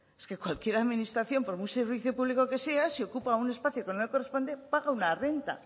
es que cualquier administración por muy servicio público que sea si ocupa un espacio que no le corresponde paga una renta